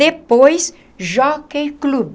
Depois, Jockey Club.